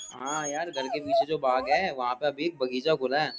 हाँ यार घर के पीछे जो बाग है वहां पर अभी एक बगीचा खुला है।